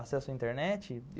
Acesso à internet.